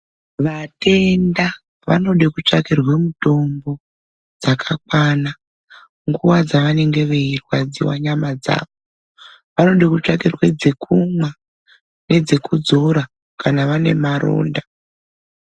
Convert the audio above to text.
Vatenda vanode kutsvakirwe mitombo dzakakwana nguva dzavanenge veyi rwadzirwa nyama dzavo vanode kutsvakirwe dzekumwa nedze kudzora kana vane maronda.